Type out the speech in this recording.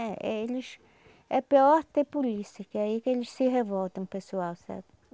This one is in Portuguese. É, eles... É pior ter polícia, que aí que eles se revoltam, o pessoal, sabe?